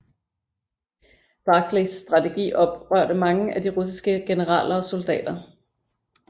Barclays strategi oprørte mange af de russiske generaler og soldater